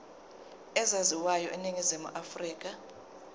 ezaziwayo eningizimu afrika